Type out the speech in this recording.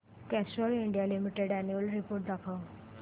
Castrol India limited annual report दाखव